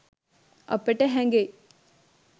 අපට හැඟෙයි